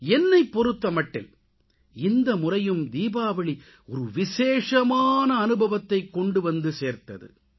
என்னைப் பொறுத்தமட்டில் இந்த முறையும் தீபாவளி சிறப்பான அனுபவத்தைக் கொண்டுவந்து சேர்த்தது